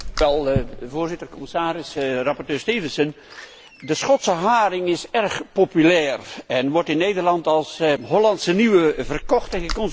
Voorzitter, commissaris, rapporteur Stevenson, de Schotse haring is erg populair en wordt in Nederland als Hollandse Nieuwe verkocht en geconsumeerd.